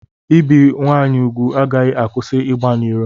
Ibi nwaanyị ugwu agaghị akwụsị ịgba n'iro.